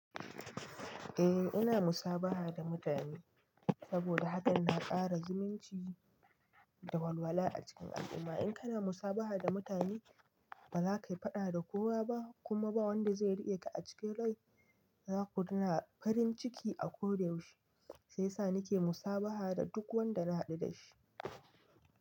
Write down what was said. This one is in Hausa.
Eh ina musabaha da mutane saboda hakan na ƙara zumunci da walwala a cikin al'umma. In kana musabaha da mutane ba za ka yi faɗa da kowa ba kuma ba wanda zai riƙe ka a cikin rai. Za ku dinga farin ciki a ko da yaushe sai sa nike musabaha da duk wanda na haɗu dashi.